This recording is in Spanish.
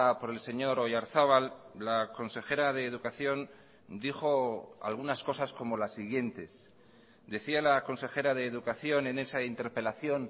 por el señor oyarzabal la consejera de educación dijo algunas cosas como las siguientes decía la consejera de educación en esa interpelación